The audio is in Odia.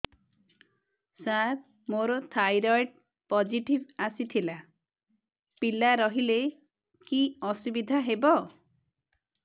ସାର ମୋର ଥାଇରଏଡ଼ ପୋଜିଟିଭ ଆସିଥିଲା ପିଲା ରହିଲେ କି ଅସୁବିଧା ହେବ